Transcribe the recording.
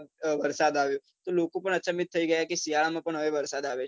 વરસાદ આવ્યો તો લોકો પણ અચંભિત થઇ ગયા કે શિયાળામાં પણ હવે વરસાદ આવે છે.